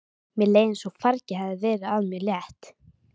Mér leið eins og fargi hefði verið af mér létt.